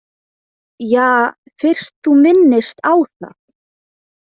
Ja, fyrst þú minnist á það.